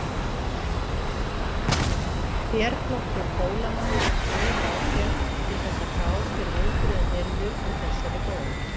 Herflokkur Hólamanna hægði á sér til þess að gá hver viðbrögðin yrðu við þessari bón.